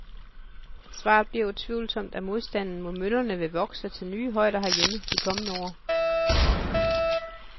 Svaret bliver utvivlsomt, at modstanden mod møllerne vil vokse til nye højder herhjemme de kommende år.